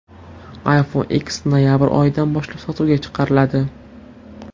iPhone X noyabr oyidan boshlab sotuvga chiqariladi.